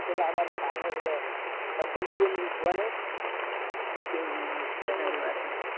હમ વસન્તિ માસી